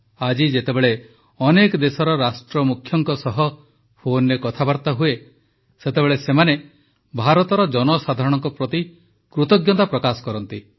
ଆଜି ଯେତେବେଳେ ଅନେକ ଦେଶର ରାଷ୍ଟ୍ରମୁଖ୍ୟଙ୍କ ସହ ଫୋନରେ କଥାବାର୍ତା ହୁଏ ସେତେବେଳେ ସେମାନେ ଭାରତର ଜନସାଧାରଣଙ୍କ ପ୍ରତି କୃତଜ୍ଞତା ପ୍ରକାଶ କରନ୍ତି